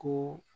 Ko